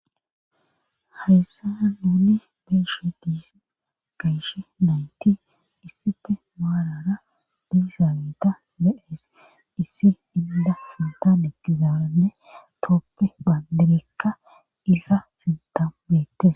Hayssana nuuni beeshe diisa gayshe nayti issife maalara dudizaaneta me7ees issi inda sintan ekizaaranne tooppe baandirekka isa sintabeette.